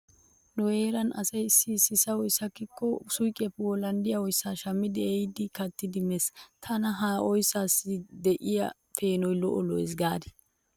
Nu heeran asay issi issi sahoy sakkikko suuqiyappe wolanddiya oyssaa shammidi ehidi kattidi mees. Tana ha oyssaassi diya peenoy lo'o lo'ees gaadii?